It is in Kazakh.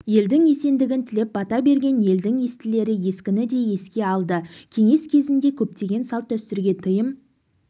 елдің есендігін тілеп бата берген елдің естілері ескіні де еске алды кеңес кезінде көптеген салт-дәстүрге тыйым